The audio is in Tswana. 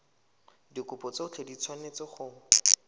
dikopo tsotlhe di tshwanetse go